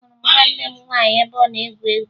Ahụrụ m nwanne m nwaanyị ebe ọ na-egwu egwu